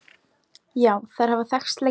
Já, þær hafa þekkst lengi.